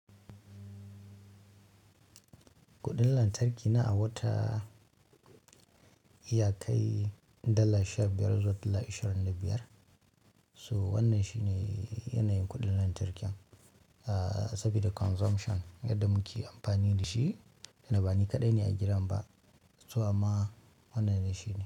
Kuɗin lantarki na a wata iya kai dalla sha biyar zuwa dalla ishirin da biyar. So wannan shi ne yanayin kuɗin lantarkin, ah saboda consumption yadda muke amfani da shi, inda bani kaɗai ne a gidan ba. To amma, wannan dai shine.